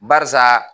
Barisa